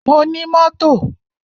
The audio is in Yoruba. Mo ní mọ́tò.